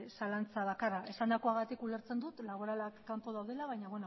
zalantza bakarra esandakoagatik ulertzen dut laboralak kanpo daudela baina